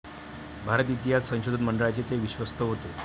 भारत इतिहास संशोधन मंडळाचे ते विश्वस्त होते.